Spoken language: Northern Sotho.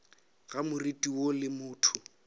ga moriti woo le motho